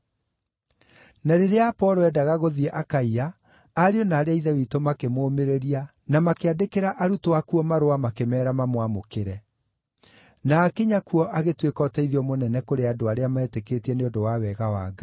Na rĩrĩa Apolo eendaga gũthiĩ Akaia, ariũ na aarĩ a Ithe witũ makĩmũũmĩrĩria na makĩandĩkĩra arutwo akuo marũa makĩmeera mamwamũkĩre. Na aakinya kuo agĩtuĩka ũteithio mũnene kũrĩ andũ arĩa meetĩkĩtie nĩ ũndũ wa wega wa Ngai.